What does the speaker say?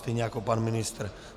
Stejně jako pan ministr.